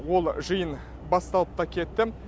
ол жиын басталып та кетті